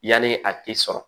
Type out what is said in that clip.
Yanni a tɛ sɔrɔ